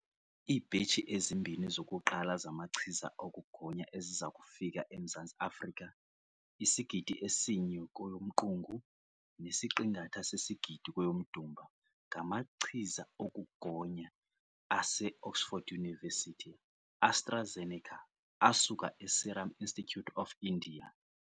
Iibhetshi ezimbini zokuqala zamachiza okugonya eziza kufika eMzantsi Afrika isigidi esinye kweyoMqungu nesiqingatha sesigidi kweyoMdumba ngamachiza okugonya ase-Oxford University-AstraZeneca asuka e-Serum Institute of India.